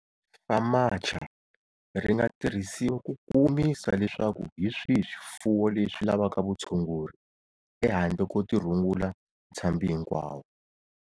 FAMACHA ri nga tirhisiwa ku kumisa leswaku hi swihi swifuwo leswi lavaka vutshunguri-ehandle ko tirhungula ntshambi hinkwawo.